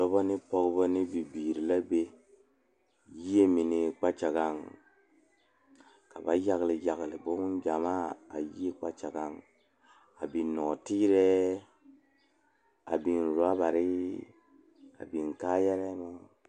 Dɔɔba ne pɔgeba kaŋa are la pegle bɔtuloŋ kaa pɔge are kaa zu waa pelaa su kpare ziɛ kaa bamine meŋ teɛ ba nuure kyɛ ba a wire biŋ kaayare meŋ.